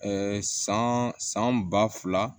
san san ba fila